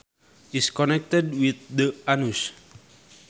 is connected with the anus